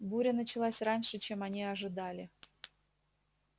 буря началась раньше чем они ожидали